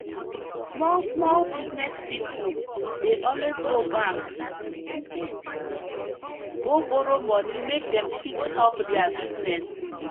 small small business people dey always go bank go borrow money make dem fit help their business